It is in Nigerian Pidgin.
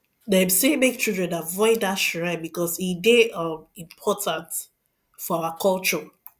them say make children avoid that shrine because e dey um important for our culture